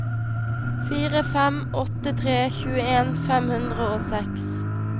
fire fem åtte tre tjueen fem hundre og seks